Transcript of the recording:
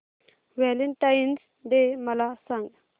Valentine's day मला सांग